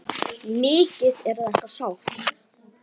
Mikið er þetta sárt.